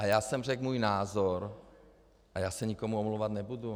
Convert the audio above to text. A já jsem řekl můj názor a já se nikomu omlouvat nebudu.